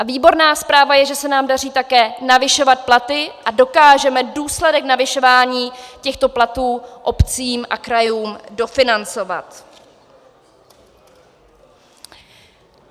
A výborná zpráva je, že se nám daří také navyšovat platy a dokážeme důsledek navyšování těchto platů obcím a krajům dofinancovat.